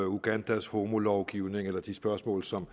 ugandas homolovgivning eller de spørgsmål som